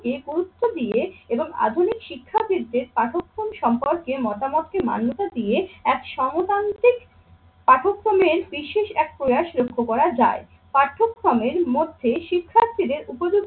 গুরুত্ব দিয়ে এবং আধুনিক শিক্ষাবিদদের পাঠক সম্পর্কে মতামতকে মান্যতা দিয়ে এক সমতান্ত্রিক পাঠ্যক্রমের বিশেষ এক প্রয়াস লক্ষ্য করা যায়। পাঠ্যক্রমের মধ্যে শিক্ষার্থীদের উপযুক্ত